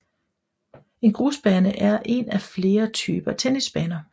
En grusbane er en af flere forskellige typer tennisbaner